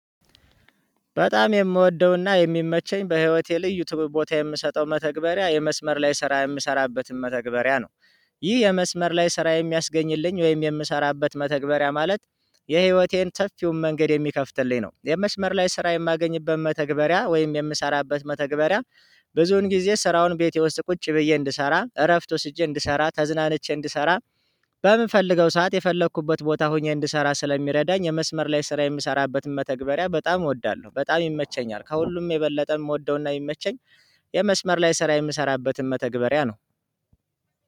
በጣም የምወደውና የሚመቸኝ በህይወቴ ልዩ ክቡር ቦታ የምሰጠው መተግበሪያ የመስመር ላይ ስራ የምሰራበትን መተግበሪያ ነው። ይህ የመስመር ላይ ስራ የሚያስገኝልኝ ወይም የምሰራበት መተግበሪያ ማለት የህይወቴን ሰፊውን መንገድ የሚከፍትልኝ ነው። የመስመር ላይ ስራ የማገኝበት መተግበሪያ ወይም የምሰራበት መተግበሪያ ብዙን ጊዜ ስራውን ቤት ውስጥ ቁጭ ብዬ እንድሰራ እረፍት ወስጄ እንድሰራ ተዝናንቼ እንድሰራ። በምፈልገው ሰዓት የፈለኩበት ቦታ ሆኜ እንድሰራ ስለሚረዳኝ የመስመር ላይ ስራ የምሰራበትን መተግበሪያ በጣም እወዳለሁ። በጣም ይመቸኛል ከሁሉም የበለጠ የምወደውና የሚመቸኝ። የመስመር ላይ ስራ የምሰራበትን መተግበሪያ ነው።